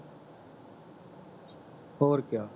ਹੋਰ ਕਿਆ